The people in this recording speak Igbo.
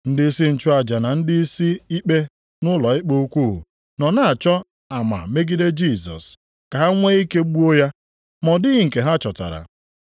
Ndịisi nchụaja na ndịisi ikpe nʼụlọikpe ukwu + 14:55 Ha dị iri asaa nʼotu nʼọnụọgụgụ ma bụrụkwa ndị gbara site nʼafọ atọ nʼotu gaa nʼihu. nọ na-achọ ama megide Jisọs, ka ha nwee ike gbuo ya. Ma ọ dịghị nke ha chọtara.